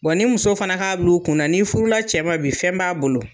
ni muso fana k'a bila u kun na ni furula cɛ bi fɛn b'a bolo